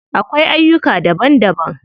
Akwai aiyuka daban daban.